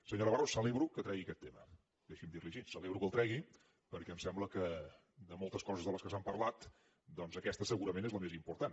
senyor navarro celebro que tregui aquest tema deixi’m dir li ho així celebro que el tregui perquè em sembla que de moltes coses de què s’ha parlat doncs aquesta segurament és la més important